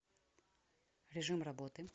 режим работы